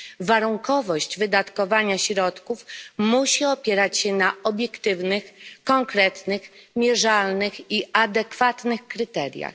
Warunkowość wydatkowania środków musi opierać się na obiektywnych, konkretnych, mierzalnych i adekwatnych kryteriach.